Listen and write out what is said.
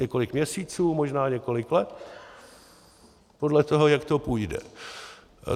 Několik měsíců, možná několik let podle toho, jak to půjde.